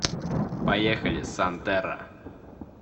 поехали сантерра